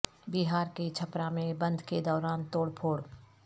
بہار کے چھپرا میں بند کے دوران توڑ پھوڑ